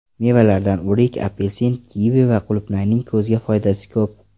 Mevalardan o‘rik, apelsin, kivi va qulupnayning ko‘zga foydasi ko‘p.